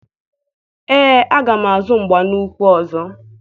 Ee, aga m azụ mgba n'ukwu ọzọ.